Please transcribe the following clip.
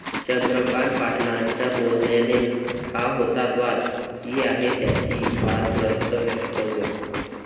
चंद्रकांत पाटलांच्या बोलण्याने का होतात वाद? ही आहेत त्यांची वादग्रस्त वक्तव्य